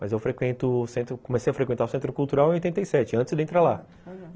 Mas eu comecei a frequentar o Centro Cultural em oitenta e sete, antes de entrar lá, aham.